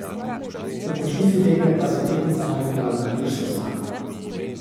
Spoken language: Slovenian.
V končnici tekme pa se je tehtnica nagnila na irsko stran.